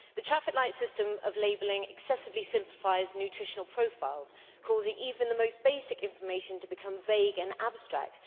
The traffic light system of labelling excessively simplifies nutritional profiles, causing even the most basic information to become vague and abstract.